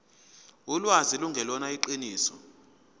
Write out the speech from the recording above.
ulwazi lungelona iqiniso